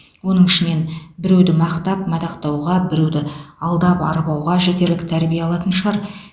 оның ішінен біреуді мақтап мадақтауға біреуді алдап арбауға жетерлік тәрбие алатын шығар